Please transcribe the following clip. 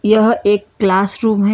यह एक classroom है।